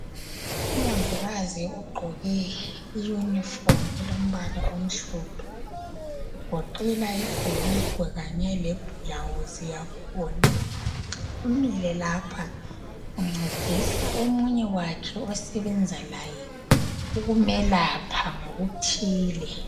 Umongikazi ogqoke iunifomu elombala omhlophe kugoqela ibhulugwe kanye lebhulawuzi yakhona umile lapha uncedisa omunye wakhe osebenza laye ukumelapha ngokuthile.